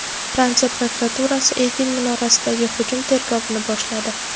Fransiya prokuraturasi Eyfel minorasidagi hujum tergovini boshladi.